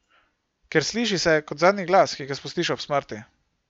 Ker sliši se, kot zadnji glas, ki ga spustiš ob smrti ...